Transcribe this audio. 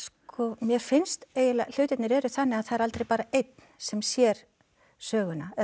mér finnst eiginlega hlutirnir eru þannig að það er aldrei bara einn sem sér söguna eða